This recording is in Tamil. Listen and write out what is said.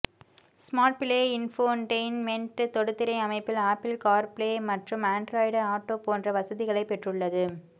ஸ்மார்ட்பிளே இன்ஃபோடெயின்மென்ட் தொடுதிரை அமைப்பில் ஆப்பிள் கார் ப்ளே மற்றும் ஆண்ட்ராய்டு ஆட்டோ போன்ற வசதிகளை பெற்றுள்ளது